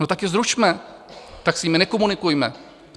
No tak ji zrušme, tak s nimi nekomunikujme.